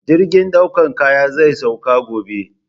Jirgin ɗaukan kaya zai sauka gobe